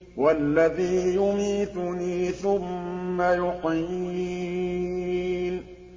وَالَّذِي يُمِيتُنِي ثُمَّ يُحْيِينِ